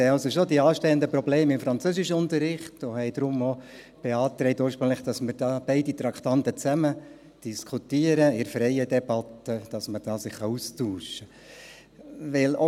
Wir sehen die anstehenden Probleme im Französischunterricht also schon, und haben deshalb denn auch ursprünglich beantragt, dass man beide Traktanden gemeinsam in freier Debatte diskutiert, sodass man sich darüber austauschen kann.